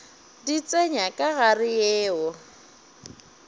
di tsenya ka gare yeo